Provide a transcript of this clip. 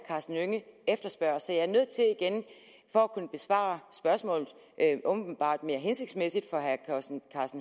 karsten hønge efterspørger så jeg er nødt til igen for at kunne besvare spørgsmålet åbenbart mere hensigtsmæssigt for herre karsten